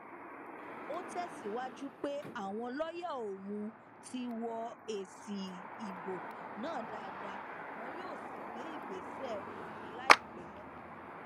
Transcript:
ó tẹsíwájú pé àwọn lọọyà òun ti wọ èsì ìbò náà dáadáa wọn yóò sì gbé ìgbésẹ òfin láìpẹ